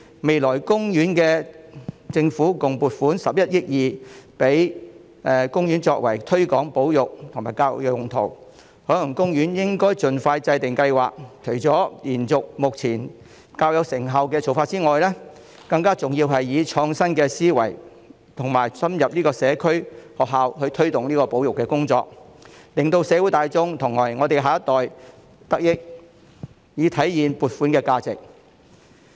第四，政府未來會撥款共11億 2,000 萬元給海洋公園推廣保育和作教育用途，海洋公園應盡快制訂計劃，除了延續目前較有成效的做法外，更重要的是以創新思維，深入社區和學校推動保育工作，讓社會大眾和我們的下一代得益，以體現撥款的價值。